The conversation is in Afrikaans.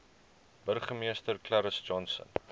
burgemeester clarence johnson